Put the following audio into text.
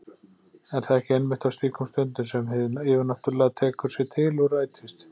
Er það ekki einmitt á slíkum stundum sem hið yfirnáttúrlega tekur sig til og rætist?